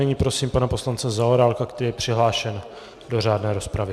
Nyní prosím pana poslance Zaorálka, který je přihlášen do řádné rozpravy.